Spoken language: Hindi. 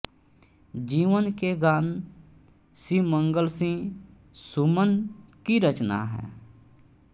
जीवन के गान शिवमंगल सिंह सुमन की रचना है